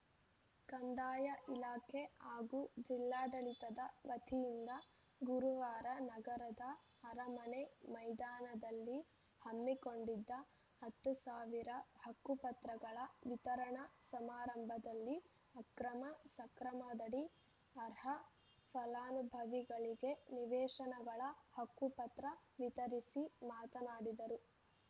ಕಂದಾಯ ಇಲಾಖೆ ಹಾಗೂ ಜಿಲ್ಲಾಡಳಿತದ ವತಿಯಿಂದ ಗುರುವಾರ ನಗರದ ಅರಮನೆ ಮೈದಾನದಲ್ಲಿ ಹಮ್ಮಿಕೊಂಡಿದ್ದ ಹತ್ತು ಸಾವಿರ ಹಕ್ಕುಪತ್ರಗಳ ವಿತರಣಾ ಸಮಾರಂಭದಲ್ಲಿ ಅಕ್ರಮಸಕ್ರಮದಡಿ ಅರ್ಹ ಫಲಾನುಭವಿಗಳಿಗೆ ನಿವೇಶನಗಳ ಹಕ್ಕುಪತ್ರ ವಿತರಿಸಿ ಮಾತನಾಡಿದರು